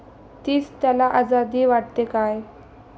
तीच त्याला आझादी वाटते काय?